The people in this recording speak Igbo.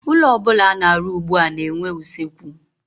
Ụlọ ọbụla ana-arụ ugbua na-enwe usekwu.